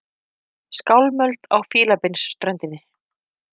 Skálmöld á Fílabeinsströndinni